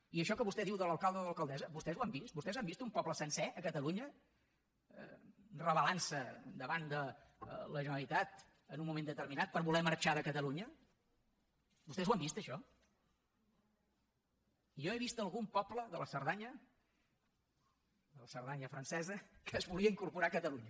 i això que vostè diu de l’alcalde o de l’alcaldessa vostès ho han vist vostès han vist un poble sencer a catalunya rebel·lantse davant de la generalitat en un moment determinat per voler marxar de catalunya vostès ho han vist això jo he vist algun poble de la cerdanya de la cerdanya francesa que es volia incorporar a catalunya